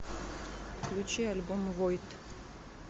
включи альбом войд